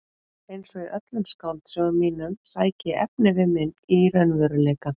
Einsog í öllum skáldsögum mínum sæki ég efnivið minn í raunveruleikann.